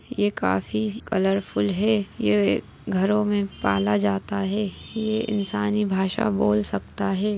ये काफी कलरफुल है ये घरों मे पाला जाता है ये इंसानी भाषा बोल सकता है ।